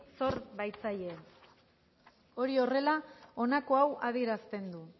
sor baitzaie hori horrela honako hau adierazten du